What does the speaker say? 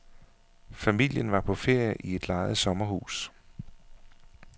Familien var på ferie i et lejet sommerhus.